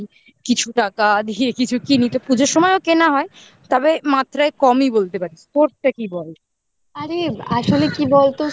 কিছু টাকা দিয়ে কিছু কিনি তো পুজোর সময়ও কেনা হয় তবে মাত্রায় কমই বলতে পারি তোরটা কি বল?